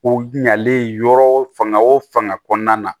O ɲalen yɔrɔ fanga o fanga kɔnɔna na